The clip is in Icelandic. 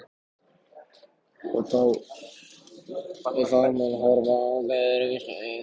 Og þá mun hún horfa á mig öðruvísi augum.